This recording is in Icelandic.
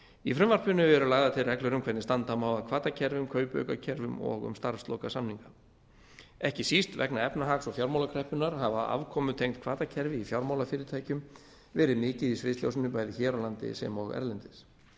í frumvarpinu eru lagðar til reglur um hvernig standa má að hvatakerfum kaupaukakerfum og um starfslokasamninga ekki síst vegna efnahags og fjármálakreppunnar hafa afkomutengd hvatakerfi í fjármálafyrirtækjum verið mikið í sviðsljósinu bæði hér á landi sem og erlendis